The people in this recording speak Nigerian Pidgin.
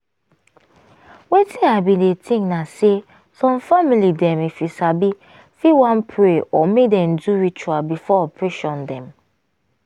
wetin i bin dey think na say some family dem if you sabi fit wan pray or make dem do ritual before operation dem.